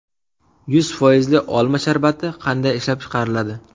Yuz foizli olma sharbati qanday ishlab chiqariladi?